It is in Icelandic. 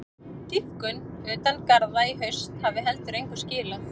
Dýpkun utan garða í haust hafi heldur engu skilað.